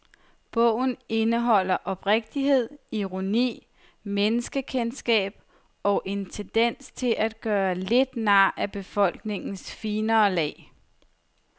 Bogen indeholder oprigtighed, ironi, menneskekendskab og en tendens til at gøre lidt nar af befolkningens finere lag.